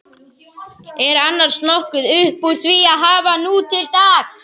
Er annars nokkuð uppúr því að hafa nútildags?